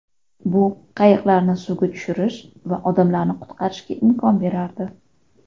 Bu qayiqlarni suvga tushirish va odamlarni qutqarishga imkon berardi.